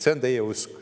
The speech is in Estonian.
See on teie usk.